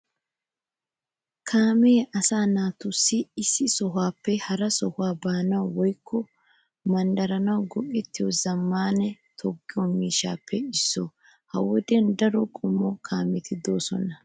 Kaamee asaa naati issi sohuwaappe hara sohuwaa baanawu woykko manddaranawu go'ettiyo zammaana toga miishshatuppe issuwaa. Ha wodiyan daro qommo kaameti de"oosona.